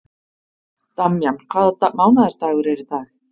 Damjan, hvaða mánaðardagur er í dag?